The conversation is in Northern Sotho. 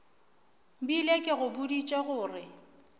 bile ke go boditše gore